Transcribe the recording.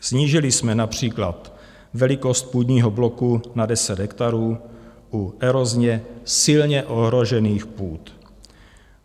Snížili jsme například velikost půdního bloku na 10 hektarů u erozně silně ohrožených půd.